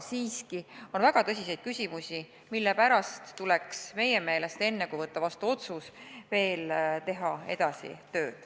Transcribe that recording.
Ja on väga tõsiseid küsimusi, mille pärast tuleks meie meelest enne, kui otsus vastu võtta, veel tööd edasi teha.